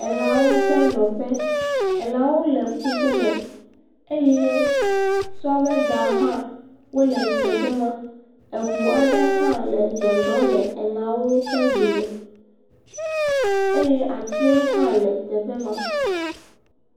Elãwo ƒe nɔƒe. Elãwo le ƒuƒoƒo me eye sɔvedawo hã wole teƒe ma, eŋu qɖe hã le zɔzɔm le elãwo ƒe dome eye atiwo hã le teƒe ma.